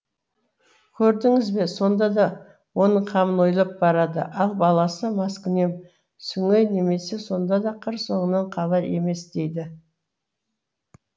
көрдіңіз бе сонда да оның қамын ойлап барады ал баласы маскүнем сүңей неме сонда да қыр соңынан қалар емес дейді